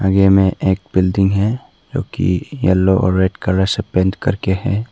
आगे में एक बिल्डिंग है जोकि येलो और रेड कलर से पेंट कर के है।